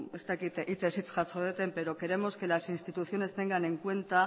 ez dakit hitzez hitz jaso deten pero queremos que las instituciones tengan en cuenta